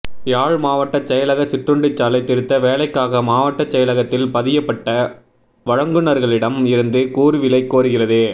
யாழ் மாவட்டச் செயலக சிற்றுண்டிச்சாலை திருத்த வேலைக்காக மாவட்டச் செயலகத்தில் பதியப்பட்ட வழங்குனர்களிடம் இருந்து கூறுவிலை கோருகிறது